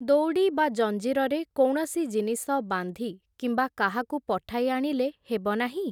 ଦଉଡ଼ି ବା ଜଞ୍ଜିରରେ କୌଣସି ଜିନିଷ ବାନ୍ଧି କିମ୍ବା କାହାକୁ ପଠାଇ ଆଣିଲେ ହେବ ନାହିଁ ।